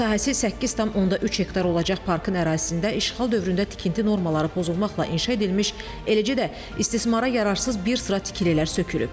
Sahəsi 8,3 hektar olacaq parkın ərazisində işğal dövründə tikinti normaları pozulmaqla inşa edilmiş, eləcə də istismara yararsız bir sıra tikililər sökülüb.